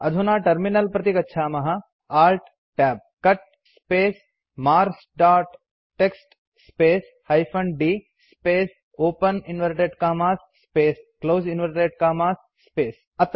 अधुना टर्मिनल प्रति गच्छामः Alt Tab cut space marks dot TXT space hyphen d space open inverted commas space close inverted commas space